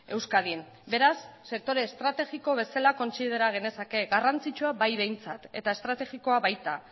euskadin beraz sektore estrategiko bezala kontsidera genezake garrantzitsua bai behintzat eta estrategikoa baita